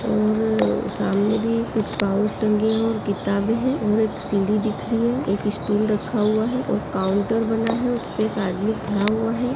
और ऊ सामने भी कुछ पाउच टंगे है और किताबे हैं और एक सीढ़ी दिख रही है। एक स्टूल रखा हुआ है और काउंटर बना है। उसपे एक आदमी खड़ा हुआ है।